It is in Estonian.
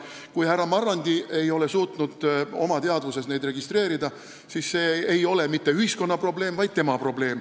Kui härra Marrandi ei ole suutnud oma teadvuses neid asju registreerida, siis see ei ole mitte ühiskonna probleem, vaid tema probleem.